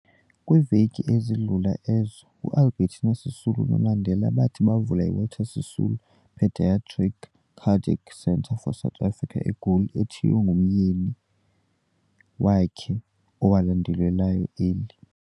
Kwiiveki ezidlula ezo, uAlbertina Sisulu noMandela bathi bavula iWalter Sisulu Peadiatric Cardiac Centre for Africa, eGoli, ethiywe ngomyeni wakhe owalandulelayo eli.